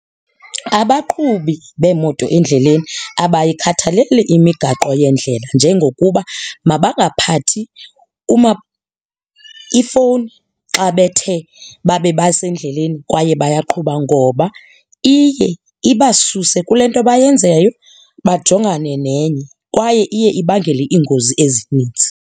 Abaqhubi beemoto endleleni abayikhathaleli imigaqo yendlela njengokuba mabangaphakathi ifowuni xa bethe babe basendleleni kwaye bayaqhuba ngoba iye ibasuse kule nto bayenzayo, bajongane nenye kwaye iye ibangele iingozi ezininzi.